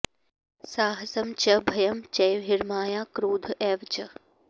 साहसं च भयं चैव ह्रीर्माया क्रोध एव च